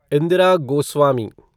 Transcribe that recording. Indira Goswami